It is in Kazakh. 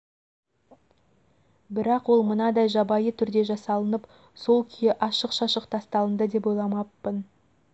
бірақ ол мынадай жабайы түрде жасалынып сол күйі ашық-шашық тасталынды деп ойламаппын